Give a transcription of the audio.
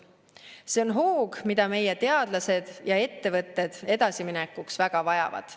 See on hoog, mida meie teadlased ja ettevõtted edasiminekuks väga vajavad.